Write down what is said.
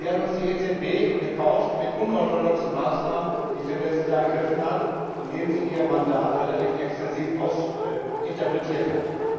Die hat uns die EZB gekauft mit unorthodoxen Maßnahmen, die sie im letzten Jahr ergriffen hat, indem sie ihr Mandat relativ extensiv interpretiert hat.